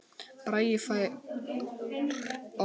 Bragi fær orðið